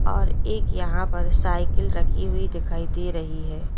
और एक यहां पर साइकिल रखी हुई दिखाई दे रही है।